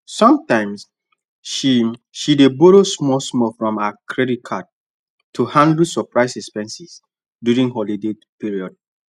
sometimes she she dey borrow smallsmall from her credit card to handle surprise expenses during holiday period